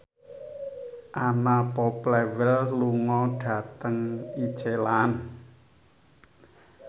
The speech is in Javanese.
Anna Popplewell lunga dhateng Iceland